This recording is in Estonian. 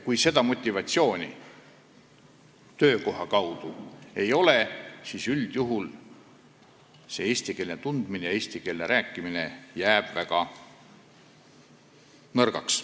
Kui seda motivatsiooni töökohal ei ole, siis üldjuhul jääb eesti keele tundmine ja rääkimine väga nõrgaks.